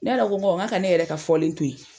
Ne yɛrɛ ko ɔn , n ko a ka ne yɛrɛ ka fɔlen to yen.